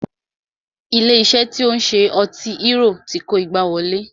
Ilé iṣé tí o ń ṣe ọtí hérò ti kó igbá wọlé.